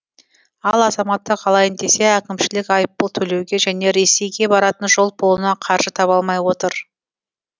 ал азаматтық алайын десе әкімшілік айыппұл төлеуге және ресейге баратын жол пұлына қаржы таба алмай отыр